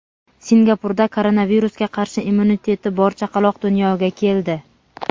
Singapurda koronavirusga qarshi immuniteti bor chaqaloq dunyoga keldi.